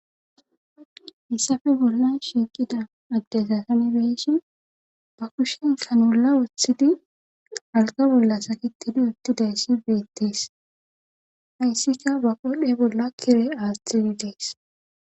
issafe bolla shiqida agdesasanbeeshhin ba kushen kanola woththidi alqa bolla sakitidi uttidayssi beettees hayssika ba qodhe bolla kire aastiri dees.